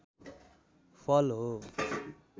फल हो